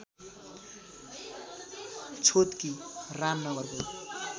छोतकी रामनगरको